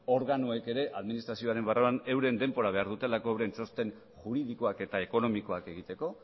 organoek ere administrazioaren barruan euren denbora behar dutelako euren txosten juridikoak eta ekonomikoak egiteko